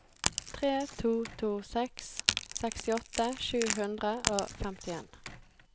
tre to to seks sekstiåtte sju hundre og femtien